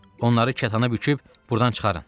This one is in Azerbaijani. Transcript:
Onları kətana büküb burdan çıxarın.